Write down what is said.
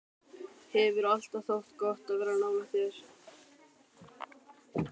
Hefur alltaf þótt gott að vera nálægt þér.